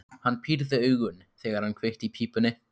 Hann pírði augun, þegar hann kveikti í pípunni.